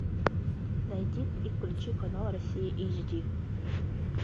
найди и включи канал россия эйч ди